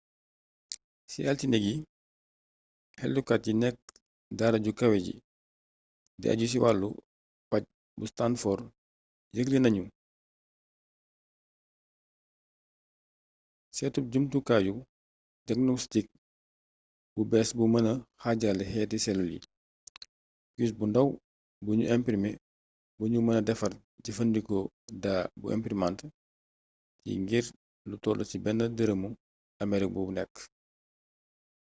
ci altine gi xeltukat yi nekk daara ju kawe ji di ajju ci wàllu paj bu stanford yëgle nañu seetub jumtukayu jagnostik bu bées bu mëna xaajale xeeti selul yi pus bu ndaw bu nu imprme bu nu mëna defar jëfandikoo daa bu imprimant yi ngir lu toll ci benn dërëmu amerig bu nekk